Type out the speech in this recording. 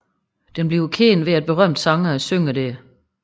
Den bliver kendt ved at berømte sangere synger der